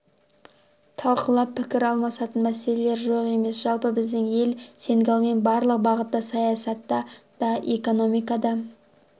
талқылап пікір алмасатын мәселелер жоқ емес жалпы біздің ел сенегалмен барлық бағытта саясатта да экономикада